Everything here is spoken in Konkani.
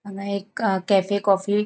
हान्गा एक आ केफ़े कॉफी --